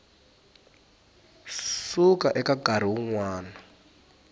suka eka nkarhi wun wana